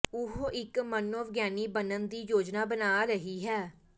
ਉਹ ਇਕ ਮਨੋਵਿਗਿਆਨੀ ਬਣਨ ਦੀ ਯੋਜਨਾ ਬਣਾ ਰਹੀ ਹੈ